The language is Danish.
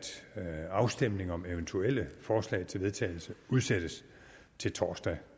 at afstemning om eventuelle forslag til vedtagelse udsættes til torsdag